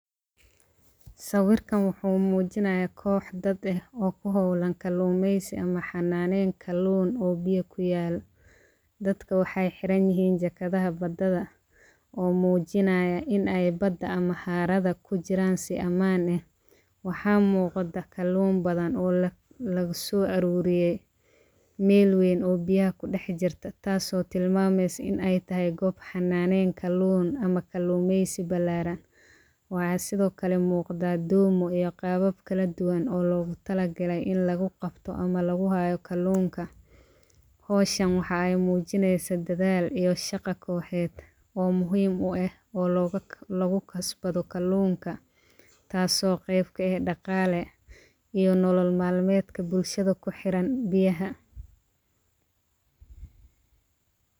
Sawirkan wuxuu mujinayaa kox dad eh oo kuholan kalumesi ama xananen kalun oo biya kuyal dadka waxee xiran yihin jakadhaha bada oo mujinaya in ee bada ee xawarada kujiran si aman leh waxaa muqda kalun badan oo laga so aruriye meel weyn oo biyaha kudax jirta tas oo tilmameysa in ee tahay gob xananen kalun ama kalumesi balaran waxaa sithokale muqdo domo iyo qabab kala duwan oo logu talagale in lagu qabto ama lagu hayo kalinka howshan waxee mujiineysaa dadhal iyo shaqa koxeed oo muhiim u eh oo lugu kasbado kalunka tasi oo qeb kaeh daqale iyo nolol malmeedka bulshaada kuxiran biyaha.